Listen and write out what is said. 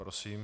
Prosím.